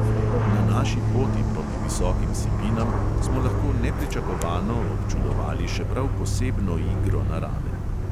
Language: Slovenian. Na naši poti proti visokim sipinam smo lahko nepričakovano občudovali še prav posebno igro narave.